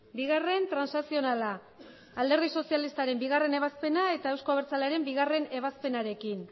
bigarren transakzionala alderdi sozialistaren bigarrena ebazpena eta euzko abertzalearen bigarrena ebazpenarekin